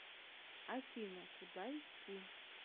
афина куда идти